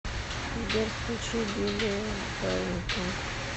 сбер включи билли каррингтон